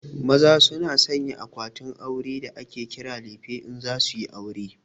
Maza su na sayan akwatin aure da ake kira lefe in za suyi aure